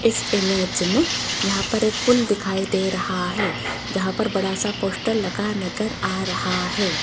इस इमेज मे यहां पर एक पूल दिखाई दे रहा है जहां पर एक बड़ा सा पोस्टर लगा नजर आ रहा है।